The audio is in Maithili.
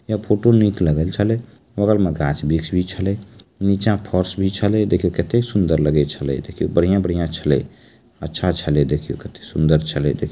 यह फोटो निक लग छले बगल म गाछ-बृक्ष भी छले नीचे फर्श भी छले देखे किते सुंदर छले देखि बढ़िया-बढ़िया छले अच्छा छले देख कते करें सुंदर छले देखि।